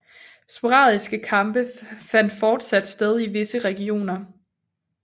Sporadiske kampe fandt fortsat sted i visse regioner